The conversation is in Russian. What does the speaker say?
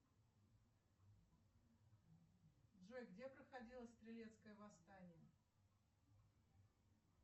джой где проходило стрелецкое восстание